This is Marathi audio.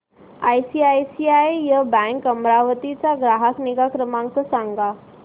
आयसीआयसीआय बँक अमरावती चा ग्राहक निगा क्रमांक सांगा